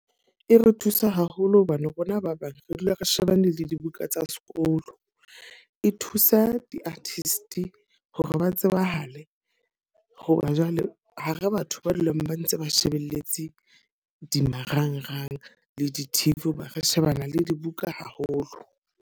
E re thusa haholo hobane rona ba bang re dula re shebane le dibuka tsa sekolo. E thusa di-artist hore ba tsebahale. Hoba jwale ha re batho ba dulang ba ntse ba shebelletse di marangrang le di-T_V hoba re shebana le dibuka haholo.